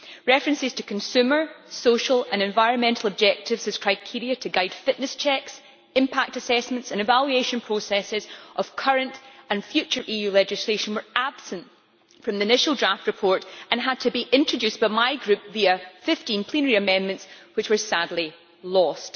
References to consumer, social and environmental objectives as criteria to guide fitness checks, impact assessments and evaluation processes of current and future EU legislation were absent from the initial draft report and had to be introduced by my group via 15 plenary amendments, which were sadly lost.